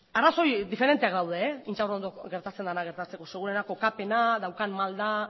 arrazoi diferenteak daude intxaurrondo gertatzen dena gertatzeko seguruena kokapena daukan malda